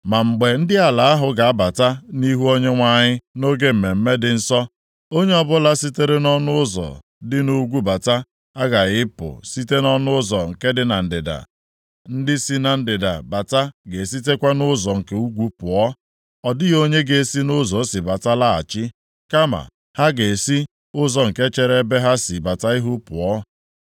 “ ‘Ma mgbe ndị ala ahụ ga-abata nʼihu Onyenwe anyị nʼoge mmemme dị nsọ, onye ọbụla sitere nʼọnụ ụzọ dị nʼugwu bata aghaghị ịpụ site nʼọnụ ụzọ nke dị na ndịda. Ndị si na ndịda bata ga-esitekwa nʼụzọ nke ugwu pụọ. Ọ dịghị onye ga-esi nʼụzọ o si bata laghachi, kama ha ga-esi ụzọ nke chere ebe ha si bata ihu pụọ.